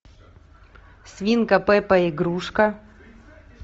свинка пеппа игрушка